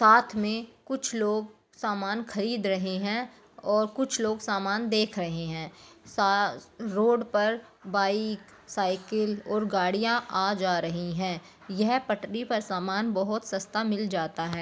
साथ में कुछ लोग सामान खरीद रहे है कुछ लोग सामन देख रहे है रोड पर बाइक साईकिल और गाड़िया आ जा रही है यह पटरी पर सामान बहुत सस्ता मिल जाता है।